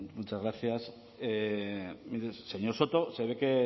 muchas gracias mire señor soto se ve